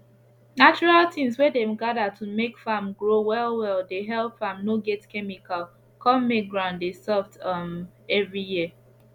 natural things wey dem gather to make farm grow well well dey help farm no get chemical con make ground dey soft um every year